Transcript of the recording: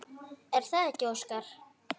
Er það ekki Óskar?